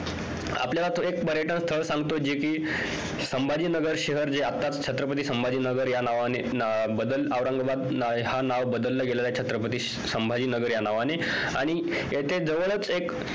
आपल्याला तो एक पर्यटन स्थळ सांगतो जे कि संभाजी नगर शहर जे कि आत्ताच छत्रपती संभाजी नगर या नावाने बदल औरंगाबाद ह्या नाव बदललं गेलल आहे छत्रपती संभाजी नगर या नावाने आणि याच्या जवळच एक